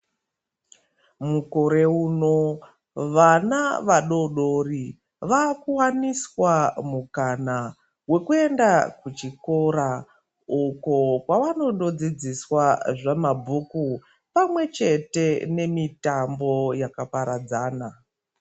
Mukore uno vana vadoodori vakuwaniswa mukana wekuenda kuchikora uko kwavanondodzidziswa zvemabhuku pamwechete nemitambo yakaparadzana.